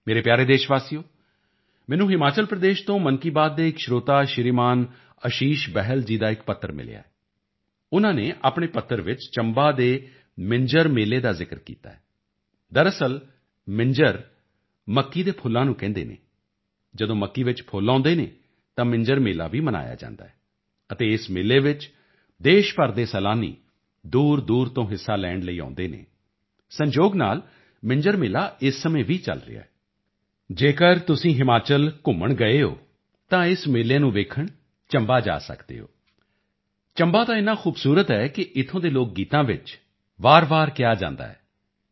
ਮੇਰੇ ਪਿਆਰੇ ਦੇਸ਼ਵਾਸੀਓ ਮੈਨੂੰ ਹਿਮਾਚਲ ਪ੍ਰਦੇਸ਼ ਤੋਂ ਮਨ ਕੀ ਬਾਤ ਦੇ ਇੱਕ ਸਰੋਤਾ ਸ਼੍ਰੀਮਾਨ ਅਸ਼ੀਸ਼ ਬਹਿਲ ਜੀ ਦਾ ਇੱਕ ਪੱਤਰ ਮਿਲਿਆ ਹੈ ਉਨ੍ਹਾਂ ਨੇ ਆਪਣੇ ਪੱਤਰ ਵਿੱਚ ਚੰਬਾ ਦੇ ਮਿੰਜਰ ਮੇਲੇ ਦਾ ਜ਼ਿਕਰ ਕੀਤਾ ਹੈ ਦਰਅਸਲ ਮਿੰਜਰ ਮੱਕੀ ਦੇ ਫੁੱਲਾਂ ਨੂੰ ਕਹਿੰਦੇ ਹਨ ਜਦੋਂ ਮੱਕੀ ਵਿੱਚ ਫੁੱਲ ਆਉਦੇ ਹਨ ਤਾਂ ਮਿੰਜਰ ਮੇਲਾ ਵੀ ਮਨਾਇਆ ਜਾਂਦਾ ਹੈ ਅਤੇ ਇਸ ਮੇਲੇ ਵਿੱਚ ਦੇਸ਼ ਭਰ ਦੇ ਸੈਲਾਨੀ ਦੂਰਦੂਰ ਤੋਂ ਹਿੱਸਾ ਲੈਣ ਲਈ ਆਉਦੇ ਹਨ ਸੰਜੋਗ ਨਾਲ ਮਿੰਜਰ ਮੇਲਾ ਇਸ ਸਮੇਂ ਵੀ ਚਲ ਰਿਹਾ ਹੈ ਜੇਕਰ ਤੁਸੀਂ ਹਿਮਾਚਲ ਘੁੰਮਣ ਗਏ ਹੋਏ ਹੋ ਤਾਂ ਇਸ ਮੇਲੇ ਨੂੰ ਵੇਖਣ ਚੰਬਾ ਜਾ ਸਕਦੇ ਹੋ ਚੰਬਾ ਤਾਂ ਇੰਨਾ ਖੂਬਸੂਰਤ ਹੈ ਕਿ ਇੱਥੋਂ ਦੇ ਲੋਕ ਗੀਤਾਂ ਵਿੱਚ ਵਾਰਵਾਰ ਕਿਹਾ ਜਾਂਦਾ ਹੈ